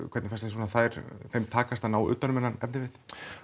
hvernig fannst þér þeim takast að ná utan um þennan efnivið